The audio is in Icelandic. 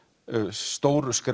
stóru skref